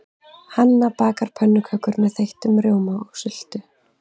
Hanna bakar pönnukökur með þeyttum rjóma og sultu.